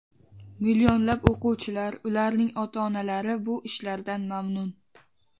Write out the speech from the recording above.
Millionlab o‘quvchilar, ularning ota-onalari bu ishlardan mamnun.